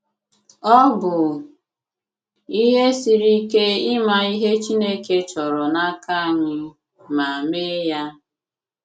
Ọ̀ bụ̀ ihe siri ike ịmà ihe Chineke chọrọ̀ n’aka anyị, ma mee ya?